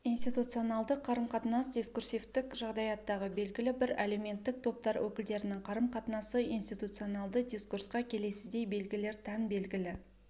институционалдық қарым-қатынас дискурсивтік жағдаяттағы белгілі бір әлеуметтік топтар өкілдерінің қарым-қатынасы институционалды дискурқа келесідей белгілер тән белгілі